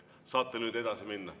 Saate nüüd edasi minna.